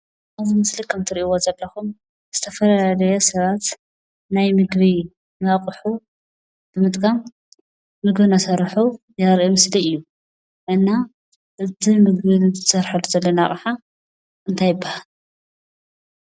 እዚ ምስሊ ከም እትሪእዎ ዘለኩም ዝተፈላለዩ ሰባት ናይ ምግቢ ኣቑሑ ንምጥቃም ምግቢ እናሰርሑ ዘርኢ ምስሊ እዩ፡፡ እና እቲ እንሰርሐሉ ዘለና ኣቕሓ እንታይ ይባሃል?